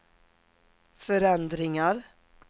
förändringar